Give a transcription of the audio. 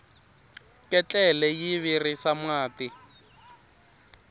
ketlele yi virisa mati